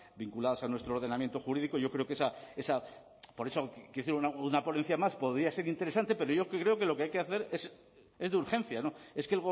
vinculadas a nuestro ordenamiento jurídico yo creo que esa esa por eso quiero decir una ponencia más podía ser interesante pero yo creo que lo que hay que hacer es de urgencia es que